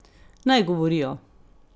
Naj govorijo.